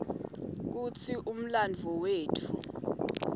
kutsi umlandvo wetfu